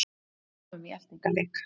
Komum í eltingaleik